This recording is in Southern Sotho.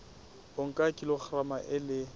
o nka kilograma e le